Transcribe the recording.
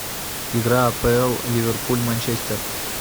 игра апл ливерпуль манчестер